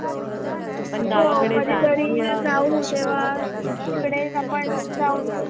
हो कधी तरी जाऊ तेव्हा तिकडेच आपण जाऊया